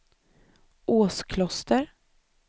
Åskloster